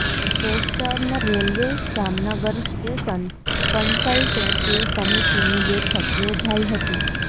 western railway Jamnagar station consultative સમિતિની બેઠક યોજાઈ હતી